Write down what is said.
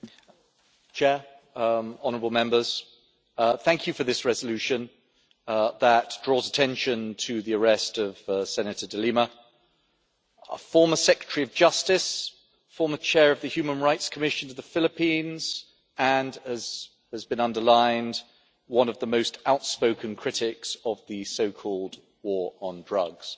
Mr President, honourable Members, thank you for this resolution that draws attention to the arrest of Senator De Lima, former Secretary of Justice, former Chair of the Human Rights Commission to the Philippines and, as has been underlined, one of the most outspoken critics of the so called war on drugs.